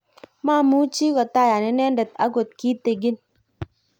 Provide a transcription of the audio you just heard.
mamuchi kotayan inendet akot kitegen